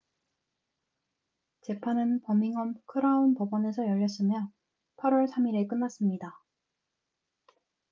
재판은 버밍엄 크라운 법원에서 열렸으며 8월 3일에 끝났습니다